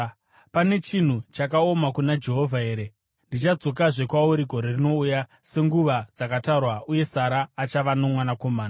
Pane chinhu chakaoma kuna Jehovha here? Ndichadzokazve kwauri gore rinouya senguva dzakatarwa uye Sara achava nomwanakomana.”